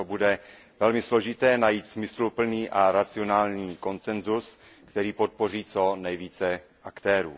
Proto bude velmi složité najít smysluplný a racionální konsenzus, který podpoří co nejvíce aktérů.